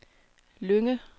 Lynge